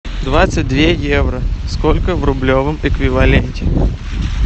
двадцать две евро сколько в рублевом эквиваленте